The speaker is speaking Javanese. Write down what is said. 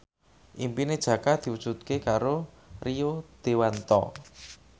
impine Jaka diwujudke karo Rio Dewanto